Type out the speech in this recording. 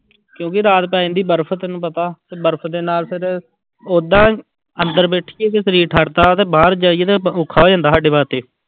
ਕਿਉਂਕਿ ਰਾਤ ਪੈ ਜਾਂਦੀ ਬਰਫ਼ ਤੈਨੂੰ ਪਤਾ ਤੇ ਬਰਫ਼ ਦੇ ਨਾਲ ਫਿਰ, ਓਦਾਂ ਅੰਦਰ ਬੈਠੀਏ ਤੇ ਸਰੀਰ ਠਰਦਾ ਤੇ ਬਾਹਰ ਜਾਈਏ ਤੇ ਔਖਾ ਹੋ ਜਾਂਦਾ ਸਾਡੇ ਵਾਸਤੇ।